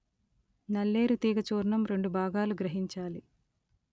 నల్లేరు తీగ చూర్ణం రెండు భాగాలు గ్రహించాలి